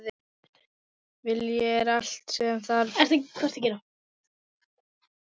Vilji er allt sem þarf.